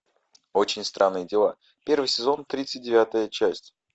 очень странные дела первый сезон тридцать девятая часть